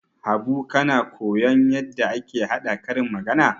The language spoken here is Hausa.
Habu kana koyon yadda ake haɗa karin magana?